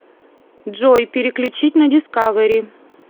джой переключить на дискавери